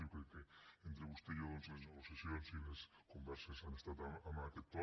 jo crec que entre vostè i jo les negociacions i les converses han estat en aquest to